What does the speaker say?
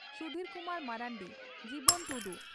ᱥᱩᱫᱷᱤᱨ ᱠᱩᱢᱟᱨ ᱢᱟᱨᱟᱱᱰᱤ ᱡᱤᱵᱚᱱ ᱴᱩᱰᱩ